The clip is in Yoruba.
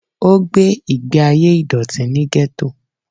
O gbé ìgbé ayé ìdọ̀tí ní Gétò